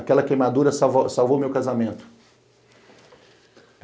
Aquela queimadura salvou meu casamento.